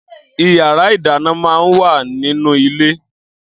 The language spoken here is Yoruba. Iyàrá idàná mà n wá ninú ilé